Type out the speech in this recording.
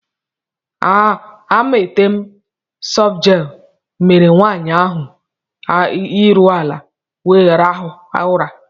Amatem softgel mere nwanyị ahụ ahụ iru ala wee rahụ ụra.